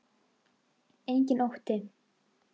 Enginn ótti.